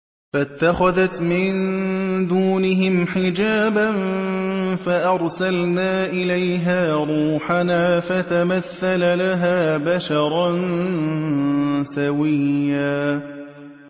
فَاتَّخَذَتْ مِن دُونِهِمْ حِجَابًا فَأَرْسَلْنَا إِلَيْهَا رُوحَنَا فَتَمَثَّلَ لَهَا بَشَرًا سَوِيًّا